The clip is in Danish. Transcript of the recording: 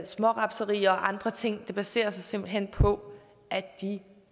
smårapserier og andre ting baserer sig simpelt hen på at de